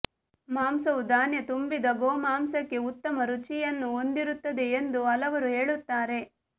ಮಾಂಸವು ಧಾನ್ಯ ತುಂಬಿದ ಗೋಮಾಂಸಕ್ಕೆ ಉತ್ತಮ ರುಚಿಯನ್ನು ಹೊಂದಿರುತ್ತದೆ ಎಂದು ಹಲವರು ಹೇಳುತ್ತಾರೆ